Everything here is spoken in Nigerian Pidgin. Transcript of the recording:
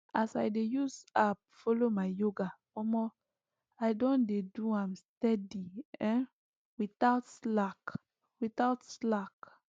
as i dey use app follow up my yoga omo i don dey do am steady um without slack without slack